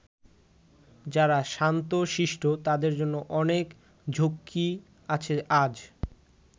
যারা শান্ত শিষ্ট তাদের জন্য অনেক ঝক্কি আছে আজ।